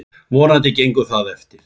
Vonandi gengur það eftir.